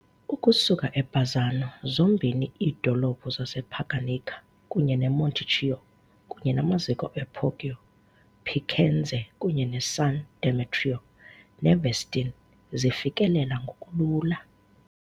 Ukusuka eBazzano zombini iidolophu zasePaganica kunye neMonticchio kunye namaziko ePoggio Picenze kunye neSan Demetrio ne'Vestini zifikeleleka ngokulula.